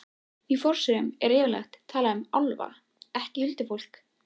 Magnús Hlynur: Er það alveg pottþétt?